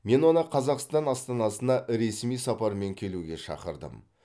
мен оны қазақстан астанасына ресми сапармен келуге шақырдым